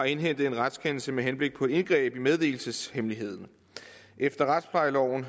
indhentet en retskendelse med henblik på indgreb i meddelelseshemmeligheden efter retsplejeloven